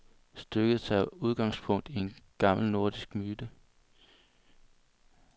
Stykket tager udgangspunkt i en gammel nordisk myte.